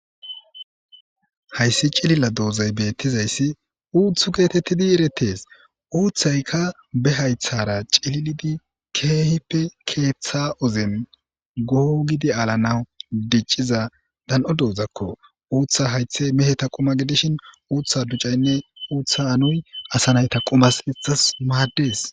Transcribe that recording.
Hayssi cililla doozay bettizayssi uuthu geetettidi eretes uuthayka be haythara cililidi keehippe keeththa ozen goho gidi aalanaw dicciza dooz'akko uuththa haythe meheta quma gidishin uutha ducaynne uutha anuy asanayta qumas hexas maaddes